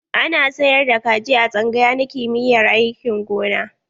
Ana sayar da kaji a tsangaya na kimiyyar aikin gona.